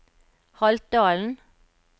Haltdalen